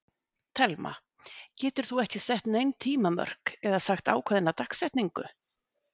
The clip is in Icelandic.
Telma: Getur þú ekki sett nein tímamörk eða sagt ákveðna dagsetningu?